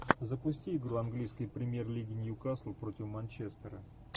запусти игру английской премьер лиги ньюкасл против манчестера